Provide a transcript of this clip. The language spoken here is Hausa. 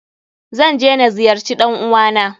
Zan je na ziyarce ɗan uwa na.